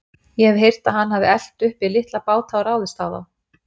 Ég hef heyrt að hann hafi elt uppi litla báta og ráðist á þá.